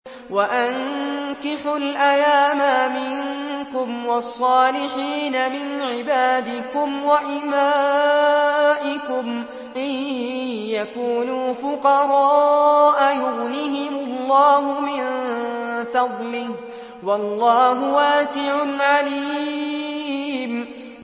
وَأَنكِحُوا الْأَيَامَىٰ مِنكُمْ وَالصَّالِحِينَ مِنْ عِبَادِكُمْ وَإِمَائِكُمْ ۚ إِن يَكُونُوا فُقَرَاءَ يُغْنِهِمُ اللَّهُ مِن فَضْلِهِ ۗ وَاللَّهُ وَاسِعٌ عَلِيمٌ